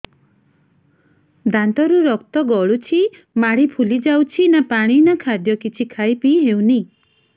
ଦାନ୍ତ ରୁ ରକ୍ତ ଗଳୁଛି ମାଢି ଫୁଲି ଯାଉଛି ନା ପାଣି ନା ଖାଦ୍ୟ କିଛି ଖାଇ ପିଇ ହେଉନି